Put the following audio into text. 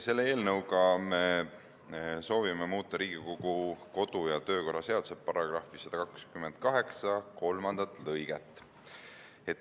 Selle eelnõuga me soovime muuta Riigikogu kodu- ja töökorra seaduse § 128 lõiget 3.